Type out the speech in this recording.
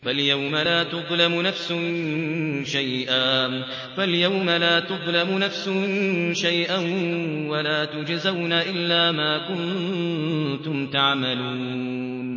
فَالْيَوْمَ لَا تُظْلَمُ نَفْسٌ شَيْئًا وَلَا تُجْزَوْنَ إِلَّا مَا كُنتُمْ تَعْمَلُونَ